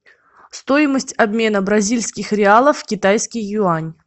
стоимость обмена бразильских реалов в китайский юань